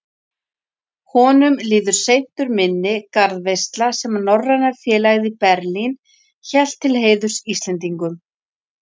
Honum líður seint úr minni garðveisla, sem Norræna félagið í Berlín hélt til heiðurs Íslendingunum.